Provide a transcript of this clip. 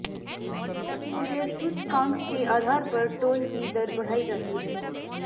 थोक मूल्य सूचकांक के आधार पर टोल की दर बढ़ाई जाती हैं